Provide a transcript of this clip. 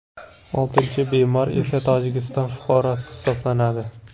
Oltinchi bemor esa Tojikiston fuqarosi hisoblanadi.